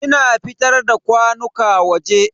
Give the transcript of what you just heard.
Ina fitar da kwanuka waje.